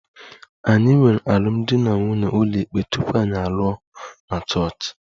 Anyị nwere alụmdi na nwunye ụlọikpe tupu anyị alụọ na Chọọchị